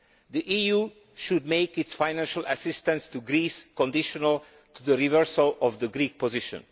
The EU should make its financial assistance to Greece conditional on the reversal of the Greek position.